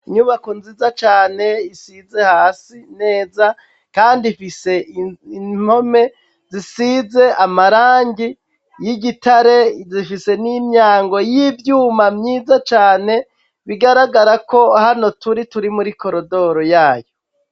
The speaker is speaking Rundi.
Inyubako nziza cane isize hasi neza, kandi mfise imtome zisize amarangi y'igitare zifise n'imyango y'ivyuma myiza cane bigaragara ko hano turi turi muri korodoro yayo.